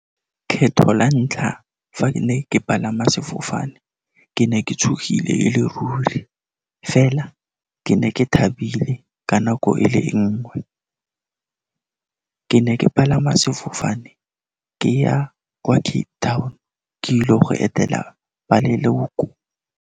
Ketlho la ntlha fa ke ne ke palama sefofane, ke ne ke tshogile e le ruri fela ke ne ke thabile ka nako e le nngwe. Ke ne ke palama sefofane ke ya kwa Cape Town, ke ile go etela ba leloko.